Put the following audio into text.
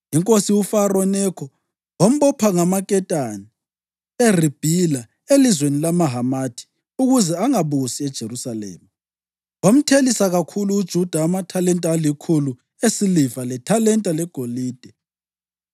Inkosi uFaro Nekho wambopha ngamaketani eRibhila elizweni lamaHamathi ukuze angabusi eJerusalema, wamthelisa kakhulu uJuda amathalenta alikhulu esiliva, lethalenta legolide.